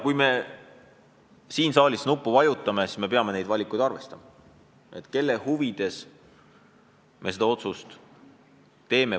Kui me siin saalis nuppu vajutame, siis me peame neid valikuid arvestama, peame mõtlema, kelle huvides me otsuse teeme.